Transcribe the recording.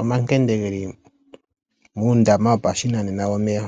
omankende ge li muundama wopashinanena womeya.